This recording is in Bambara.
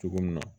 Cogo min na